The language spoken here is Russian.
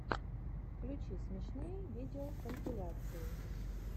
включи смешные видеокомпиляции